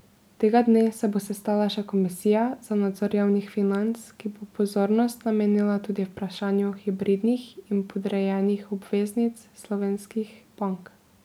Tega dne se bo sestala še komisija za nadzor javnih financ, ki bo pozornost namenila tudi vprašanju hibridnih in podrejenih obveznic slovenskih bank.